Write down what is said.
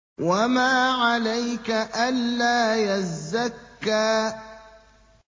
وَمَا عَلَيْكَ أَلَّا يَزَّكَّىٰ